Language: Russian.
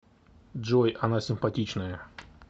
джой она симпатичная